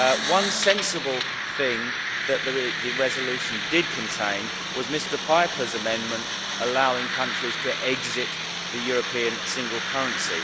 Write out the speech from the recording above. One sensible thing that the resolution did contain was Mr Pieper's amendment allowing countries to exit the European single currency.